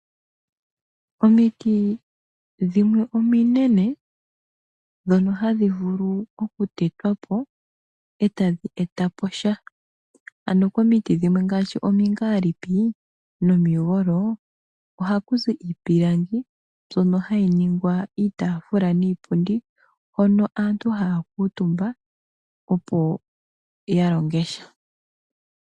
Omiti dhimwe ominene dhono hadhi vulu okutetwa po eta dhi eta po sha. Ano komiti dhimwe ngaashi omingaalipi nomigolo ohaku kuzi iipilangi mbyono hayi ningwa iitafula niipundi hono aantu haya kuutumba opo ya longe sha.